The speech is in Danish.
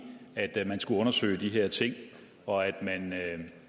at man skulle undersøge de her ting og at man